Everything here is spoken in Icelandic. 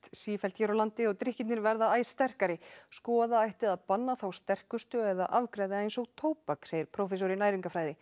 sífellt hér á landi og drykkirnir verða æ sterkari skoða ætti að banna þá sterkustu eða afgreiða eins og tóbak segir prófessor í næringarfræði